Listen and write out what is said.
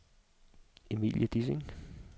Emilie Dissing